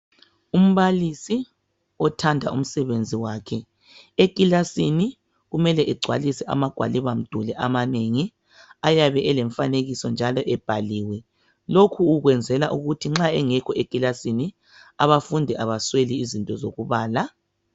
Umbalisi othanda umsebenzi wakhe eklilasini kumele egcwalise ama gwaliba mduli amanengi ayabe elomfanekiso njalo ebhaliwe lokho ukuyenzela ukuba nxa engekho eklilasini abafundi abasweli izinto zokubala.